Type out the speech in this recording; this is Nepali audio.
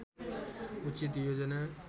उचित योजना